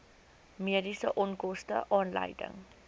mediese onkoste aanleiding